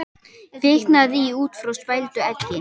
Kviknaði í út frá spældu eggi